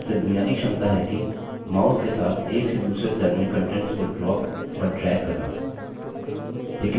सबसे बुनियादी क्षमता है कि mouse के साथ एक से दूसरे cell में contents को drop और drag करना